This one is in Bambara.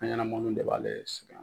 An ɲɛna bɛɛ ba ale le sɛgɛn.